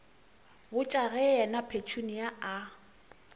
botša ge yena petunia a